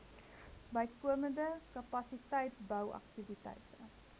bykomende kapasiteitsbou aktiwiteite